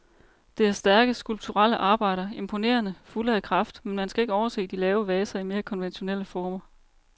Det er stærke, skulpturelle arbejder, imponerende, fulde af kraft, men man skal ikke overse de lave vaser i mere konventionelle former.